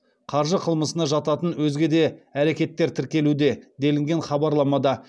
қаржы қылмысына жататын өзге де әрекеттер тіркелуде делінген хабарламада